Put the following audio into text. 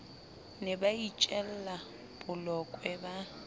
ne ba itjella bolokwe ba